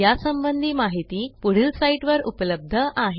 यासंबंधी माहिती पुढील साईटवर उपलब्ध आहे